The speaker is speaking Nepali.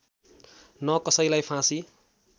न कसैलाई फाँसी